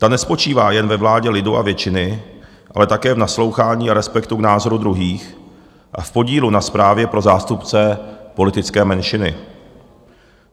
Ta nespočívá jen ve vládě lidu a většiny, ale také v naslouchání a respektu k názoru druhých a v podílu na správě pro zástupce politické menšiny.